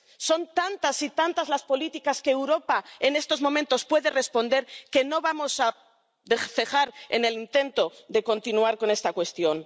Son tantas y tantas las políticas a las que Europa en estos momentos puede responder que no vamos a cejar en el intento de continuar con esta cuestión.